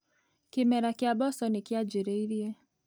Kĩmera kĩa mboco nĩ kĩanjĩrĩirie.